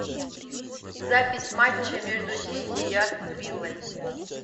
запись матча между сити и астон виллой